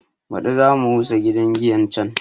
Baɗi za mu rusa gidan giyan can